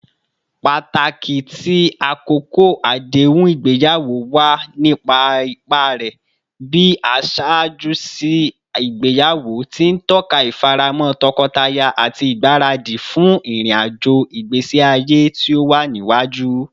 Pataki ti akoko adehun igbeyawo wa ni ipa rẹ bi aṣaaju si igbeyawo, ti n tọka ifaramo tọkọtaya ati igbaradi fun irin-ajo igbesi aye ti o wa niwaju.